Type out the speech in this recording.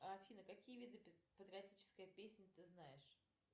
афина какие виды патриотической песни ты знаешь